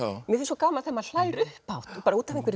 mér finnst svo gaman þegar maður hlær upphátt út af einhverri